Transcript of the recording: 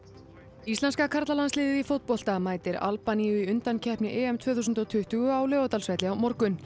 íslenska karlalandsliðið í fótbolta mætir Albaníu í undankeppni EM tvö þúsund og tuttugu á Laugardalsvelli á morgun